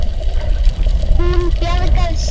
Hún bjargar sér.